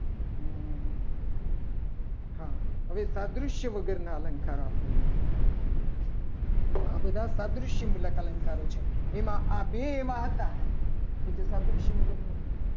મુલક રાધુષ્ય વગરના અલંકાર આપણે લઈએ. આ બધા પ્રાદ્ય અલંકારો છે. એમાં આ બે એવા હતા. કે જે ત્રાદૃશ્ય મુલક નથી.